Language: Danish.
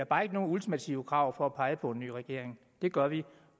bare ikke nogen ultimative krav for at pege på en ny regering det gør vi